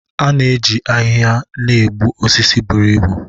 A na-eji ahịhịa na-egbu osisi buru ibu